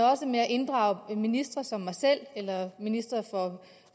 inddrage ministre som mig selv eller ministeren